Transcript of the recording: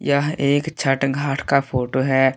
यह एक छठ घाट का फोटो है।